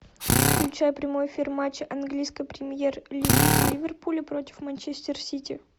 включай прямой эфир матча английской премьер лиги ливерпуль против манчестер сити